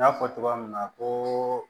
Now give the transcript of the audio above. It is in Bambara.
N y'a fɔ cogoya min na koo